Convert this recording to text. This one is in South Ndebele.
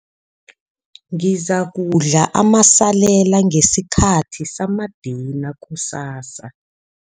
Ngizakudla amasalela ngesikhathi samadina kusasa.